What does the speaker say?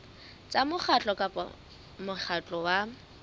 tsa mokgatlo kapa mokgatlo wa